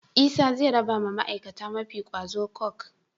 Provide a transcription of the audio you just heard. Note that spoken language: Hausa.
Isa ze rabawa ma aikata mafi kwazo coke